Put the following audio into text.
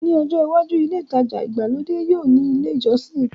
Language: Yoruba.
Ní ọjọ́ iwájú, ilé ìtajà ìgbàlódé yóò ní ilé ìjọsìn